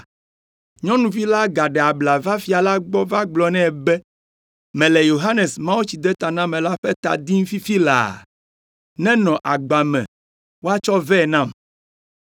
Nyɔnuvi la gaɖe abla va fia la gbɔ va gblɔ nɛ be, “Mele Yohanes Mawutsidetanamela ƒe ta dim fifi laa, nenɔ agba me woatsɔ vɛ nam.”